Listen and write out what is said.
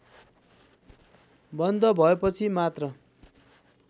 बन्द भएपछि मात्र